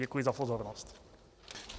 Děkuji za pozornost.